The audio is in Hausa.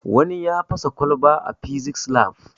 Wani ya fasa kwalba a fisis lab